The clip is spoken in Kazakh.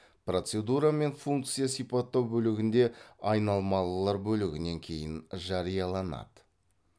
процедура мен функция сипаттау бөлігінде айнымалылар бөлігінен кейін жарияланады